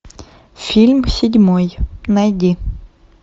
фильм седьмой найди